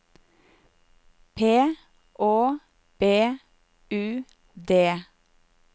P Å B U D